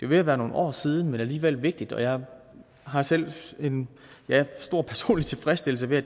ved at være nogle år siden men alligevel vigtigt og jeg har selv en stor personlig tilfredsstillelse ved